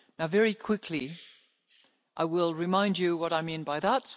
Union. Very quickly, I will remind you of what I mean